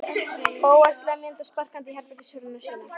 Bóas lemjandi og sparkandi í herbergishurðina sína.